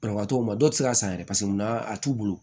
Banabagatɔw ma dɔw ti se ka san yɛrɛ paseke mun na a t'u bolo